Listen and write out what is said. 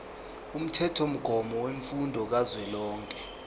umthethomgomo wemfundo kazwelonke